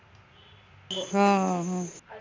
हं हं